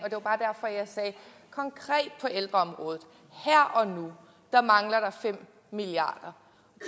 konkret på ældreområdet her og nu mangler der fem milliard